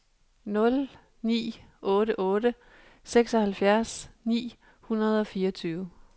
nul ni otte otte seksoghalvfjerds ni hundrede og fireogtyve